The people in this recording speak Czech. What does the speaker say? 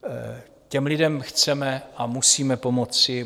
Těm lidem chceme a musíme pomoci.